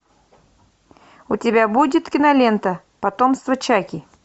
у тебя будет кинолента потомство чаки